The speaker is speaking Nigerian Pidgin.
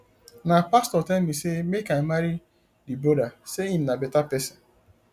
na pastor tell me sey make i marry di broda sey him na beta pesin